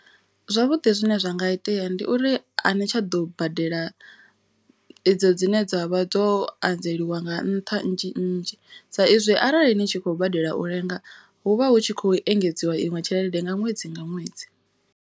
Zwavhuḓi zwine zwa nga itea ndi uri a ni tsha ḓo badela idzo dzine dzavha dzo anzeliwa nga nṱha nnzhi nnzhi. Sa izwi arali ni tshi khou badela u lenga hu vha hu tshi khou engedziwa iṅwe tshelede nga ṅwedzi nga ṅwedzi.